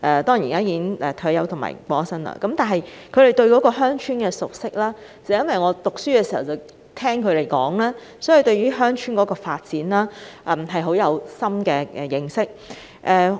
當然，他現已退休和離世，但基於他對鄉村事務的熟識，令學生時代經常和他聊天的我也對鄉村發展建立深厚認識。